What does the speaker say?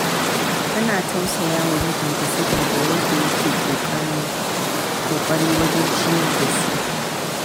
Tana tausaya wa mijinta, saboda yadda yake ƙoƙari wajen ciyar da su.